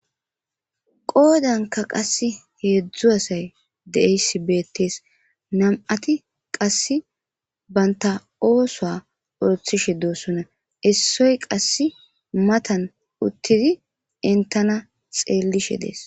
qoodanka qasse heedzdzu asay de7eyssi beettees nam7ati qasse baynta oosoa orothishe doossona issoy qasse matan uttidi entana xeellishe dees